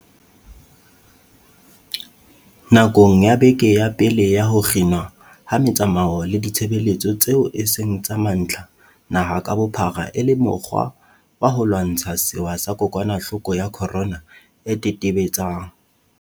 Nakong ya beke ya pele ya ho kginwa ha metsamao le ditshebeletso tseo e seng tsa mantlha naha ka bophara e le mokgwa wa ho lwantsha sewa sa kokwanahloko ya corona e tetebe-tsang